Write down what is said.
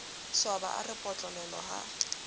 swaba a re potlololo ha